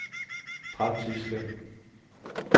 praktiske